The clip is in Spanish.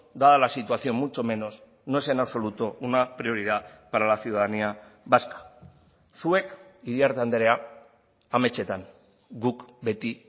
dada la situación mucho menos no es en absoluto una prioridad para la ciudadanía vasca zuek iriarte andrea ametsetan guk beti